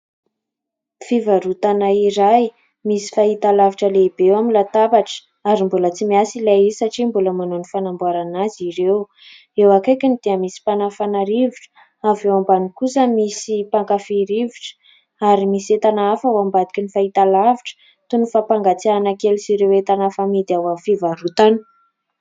Fivarotana iray, misy fahitalavitra lehibe eo amin'ny latabatra ary mbola tsy miasa ilay izy satria mbola manao ny fanamboarana azy ireo. Eo akaikiny dia misy mpanafana rivotra, avy ao ambany kosa misy mpankafy rivotra ary misy entana hafa ao ambadiky ny fahitalavitra : toy ny fampangatsiahana kely sy ny entana hafa amidy ao amin'ny fivarotana.